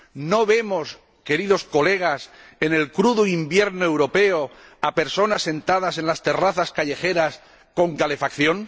¿No vemos, queridos colegas, en el crudo invierno europeo, a personas sentadas en las terrazas callejeras con calefacción?